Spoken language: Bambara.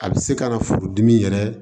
A bɛ se ka na furudimi yɛrɛ